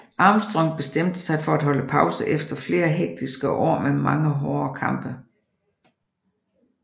Armstrong bestemte sig for at holde pause efter flere hektiske år med mange hårde kampe